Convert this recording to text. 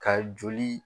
Ka joli